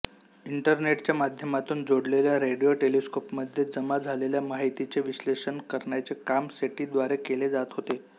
इंटरनेटच्या माध्यमातून जोडलेल्या रेडिओ टेलेस्कोपमध्ये जमा झालेल्या माहितीचे विश्लेषण करण्याचे काम सेटीद्वारे केले जात होते